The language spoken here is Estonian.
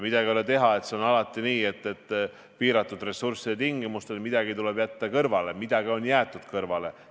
Midagi ei ole teha, see on alati nii, et piiratud ressursside tingimustes tuleb midagi jätta kõrvale ja midagi ongi jäetud kõrvale.